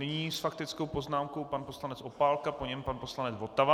Nyní s faktickou poznámkou pan poslanec Opálka, po něm pan poslanec Votava.